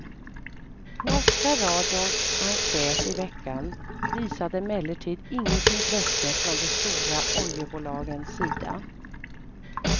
Norska radions enkät i veckan visade emellertid inget intresse från de stora oljebolagens sida.